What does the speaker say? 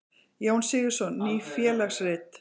Jón Sigurðsson: Ný félagsrit.